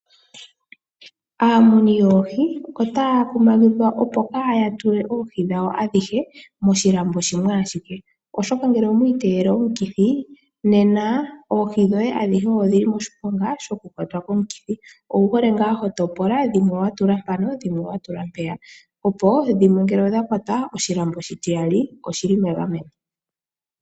Aamuni yoohi otaya kumagidhwa opo kaya tule oohi dhawo adhihe moshilambo shimwe ashike, oshoka ngele omwa iteyele omukithi nena oohi dhoye adhihe odhi li moshiponga shokukwatwa komukithi. Owu hole ngaa ho topola dhimwe wa tula mpano dhimwe wa tula mpeya, opo dhimwe ngele odha kwatwa oshilambo oshitiyali oshi li megameno.